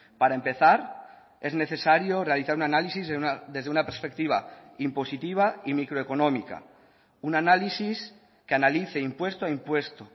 para empezar es necesario realizar un análisis desde una perspectiva impositiva y microeconómica un análisis que analice impuesto a impuesto